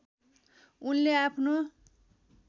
उनले आफ्नो